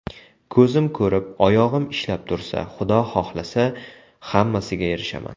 Ko‘zim ko‘rib, oyog‘im ishlab tursa, Xudo xohlasa, hammasiga erishaman.